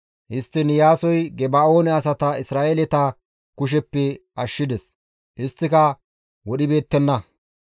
Histtiin Iyaasoy Geba7oone asata Isra7eeleta kusheppe ashshides; isttika wodhibeettenna.